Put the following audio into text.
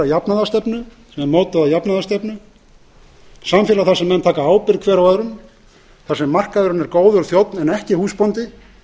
jafnaðarstefnu samfélag þar sem menn taka ábyrgð hver á öðrum þar sem markaðurinn er góður þjónn en ekki húsbóndi